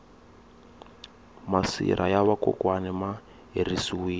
masirha ya va kokwani ma herisiwile